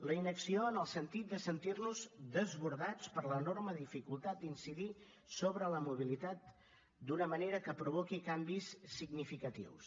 la inacció en el sentit de sentir nos desbordats per l’enorme dificultat d’incidir sobre la mobilitat d’una manera que provoqui canvis significatius